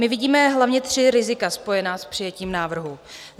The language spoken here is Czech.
My vidíme hlavně tři rizika spojená s přijetím návrhu.